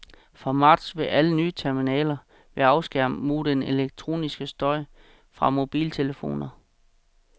Fra marts vil alle nye terminaler være afskærmet mod den elektroniske støj fra mobiltelefoner.